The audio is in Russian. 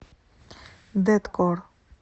дэткор